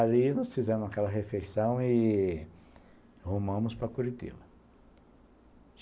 Ali, nós fizemos aquela refeição e rumamos para Curitiba.